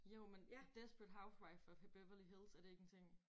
Jo men desperate housewives of Beverly Hills er det ikke en ting?